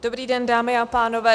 Dobrý den, dámy a pánové.